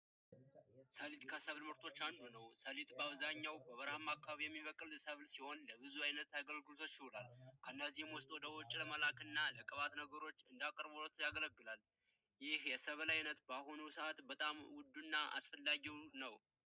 ሰሊጥ ከሰብል ምርቶች አንዱ ነው ሰሊጥ በአብዛኛው በበረሃማ አካባቢ የሚበቅል ሰብል ሲሆን ለብዙ አገልግሎቶች ይውላሉ ከነዚህም ውስጥ ለዘይት እና የቅባት ነገሮች እንደ አቅርቦት ያገለግላል። ይህ የሰብል አይነት በአሁኑ ሰዓት ውዱ እና አስፈላጊውም ነው።